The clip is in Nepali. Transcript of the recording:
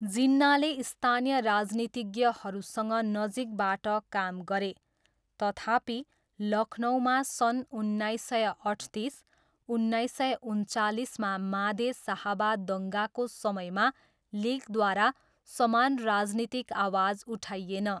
जिन्नाले स्थानीय राजनीतिज्ञहरूसँग नजिकबाट काम गरे, तथापि, लखनऊमा सन् उन्नाइस सय अठतिस, उन्नाइस सय उनन्चालिसमा माधे साहबा दङ्गाको समयमा लिगद्वारा समान राजनीतिक आवाज उठाइएन।